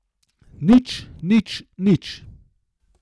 Nič, nič, nič.